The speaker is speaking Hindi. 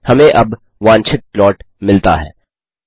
हमें अब वांछित प्लॉट मिलता है